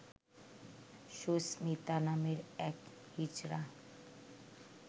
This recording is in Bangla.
সুস্মিতা নামের এক হিজড়া